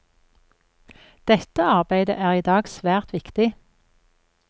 Dette arbeidet er i dag svært viktig.